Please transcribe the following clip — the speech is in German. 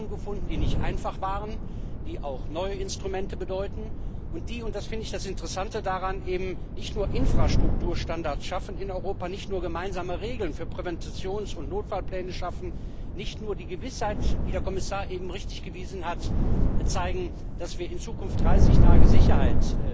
Wir haben Lösungen gefunden, die nicht einfach waren, die auch neue Instrumente bedeuten und die und das finde ich das Interessante daran eben nicht nur Infrastrukturstandards in Europa, nicht nur gemeinsame Regeln für Präventions und Notfallpläne schaffen, nicht nur die Gewissheit auf die der Kommissar eben zu Recht hingewiesen hat bieten, dass wir in Zukunft den Menschen 30 Tage Sicherheit